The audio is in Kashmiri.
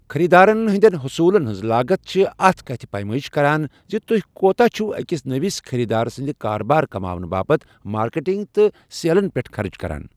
خٔریٖدارن ہٕنٛدٮ۪ن حصوٗلن ہٕنٛز لاگت چھِ اتھ کتھِ پیمٲئش کران زِ تُہۍ کوتاہ چھ أکِس نٔوس خٔریٖدار سٕنٛدِ کاربار کماونہٕ باپتھ مارکیٹنگ تہٕ سیلن پٮ۪ٹھ خرٕچ کران۔